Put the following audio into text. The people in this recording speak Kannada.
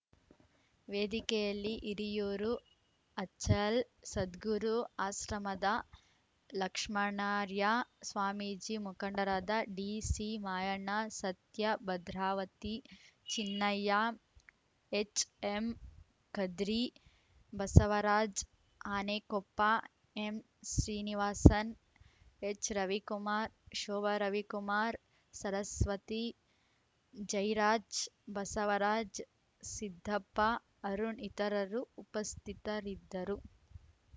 ವೇದಿಕೆಯಲ್ಲಿ ಇರಿಯೂರು ಅಚಲ್ ಸದ್ಗುರು ಆಶ್ರಮದ ಲಕ್ಷ್ಮಣಾರ್ಯ ಸ್ವಾಮೀಜಿ ಮುಖಂಡರಾದ D C Mayanna Satya Bhadravati Chinnaiah H M Khadri Basavaraj Anekoppa M Srinivasan H Ravikumar Shobha Ravikumar Saraswati Jayaraj Basavaraj Siddappa Arun ಇತರರು ಉಪಸ್ಥಿತರಿದ್ದರು